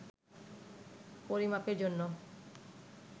পরিমাপের জন্য